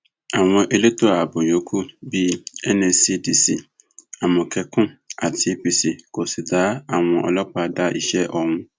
àwọn elétò ààbò yòókù bíi nscdc amókẹkùn àti apc kò sì dá àwọn ọlọpàá dá iṣẹ ọhún